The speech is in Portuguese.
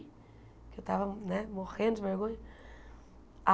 Porque eu estava né morrendo de vergonha.